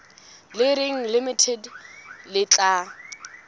le reng limited le tla